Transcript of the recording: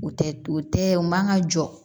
U tɛ u tɛ u man ka jɔ